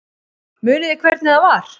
Munið þið hvernig það var?